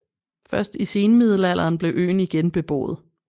Først i senmiddelalderen blev øen igen beboet